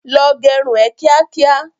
Lọ gẹrun ẹ kíá kíá!